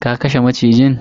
ka kashe macijin?